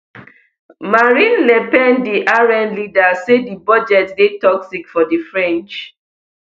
marine le pen di rn leader say di budget dey toxic for di french